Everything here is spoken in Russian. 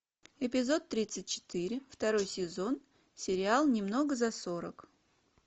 эпизод тридцать четыре второй сезон сериал немного за сорок